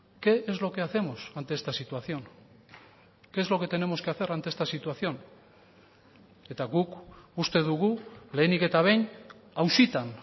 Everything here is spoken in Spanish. qué es lo que hacemos ante esta situación qué es lo que tenemos que hacer ante esta situación eta guk uste dugu lehenik eta behin auzitan